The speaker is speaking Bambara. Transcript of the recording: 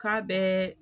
K'a bɛɛ